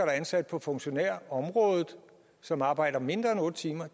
er ansat på funktionærområdet og som arbejder mindre end otte timer